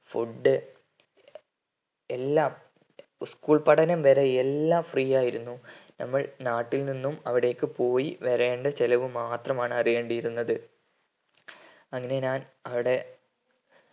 food എല്ലാം school പഠനം വരെ എല്ലാം free ആയിരുന്നു നമ്മൾ നാട്ടിൽ നിന്നും അവിടേക്കു പോയി വരേണ്ട ചെലവ് മാത്രമാണ് അറിയേണ്ടിയിരുന്നത്